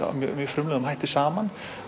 frumlegan hátt saman